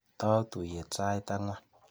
Tou tuiyet sait ang'wan.